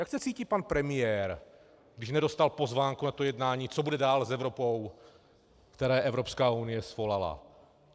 Jak se cítí pan premiér, když nedostal pozvánku na to jednání, co bude dál s Evropou, které Evropská unie svolala?